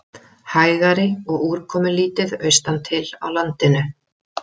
Hægari og úrkomulítið austantil á landinu